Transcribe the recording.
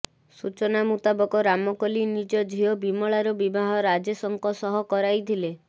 ସୂଚନା ମୁତାବକ ରାମକଲୀ ନିଜ ଝିଅ ବିମଳାର ବିବାହ ରାଜେଶଙ୍କ ସହ କରାଇଥିଲେ